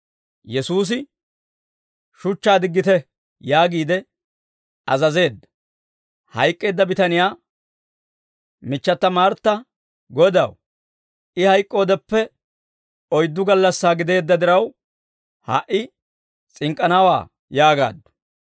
Yesuusi, «Shuchchaa diggite!» yaagiide azazeedda. Hayk'k'eedda bitaniyaa michchata Martta, «Godaw, I hayk'k'oodeppe oyddu gallassaa gideedda diraw, ha"i s'ink'k'anawaa!» yaagaaddu.